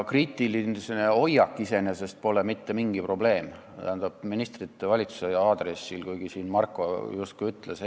Kriitiline hoiak ministrite ja valitsuse suhtes pole iseenesest mitte mingi probleem, kuigi siin Marko justkui seda ütles.